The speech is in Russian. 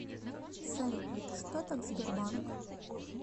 салют что так сбербанк